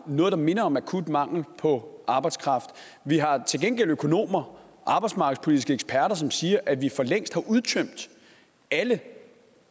noget der minder om akut mangel på arbejdskraft vi har til gengæld økonomer arbejdsmarkedspolitiske eksperter som siger at vi for længst har udtømt alle